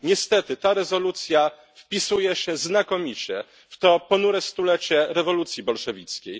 Niestety ta rezolucja wpisuje się znakomicie w to ponure stulecie rewolucji bolszewickiej.